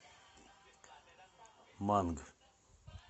манг